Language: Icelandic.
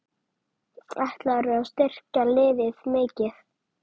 Ætlarðu að styrkja liðið mikið?